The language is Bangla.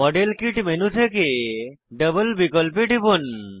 মডেল কিট মেনু থেকে ডাবল বিকল্পে টিপুন